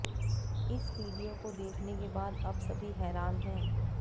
इस वीडियो को देखने के बाद अब सभी हैरान है